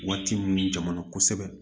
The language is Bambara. Waati min jamana kosɛbɛ